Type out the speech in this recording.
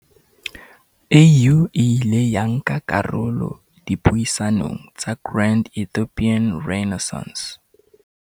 AU e ile ya nka karolo dipuisanong tsa Grand Ethiopian Renai ssance